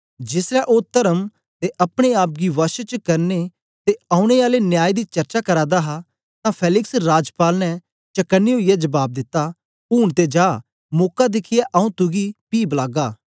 जेसलै ओ तर्म ते अपने आप गी वश च करने ते औने आले न्याय दी चर्चा करा दा हा तां फेलिक्स राजपाल ने चकने ओईयै जबाब दिता ऊन ते जा मौका दिखियै आंऊँ तुगी पी बलागा